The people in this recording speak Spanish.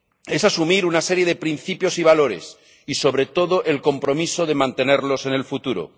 Es asumir una serie de principios y valores y, sobre todo, el compromiso de mantenerlos en el futuro.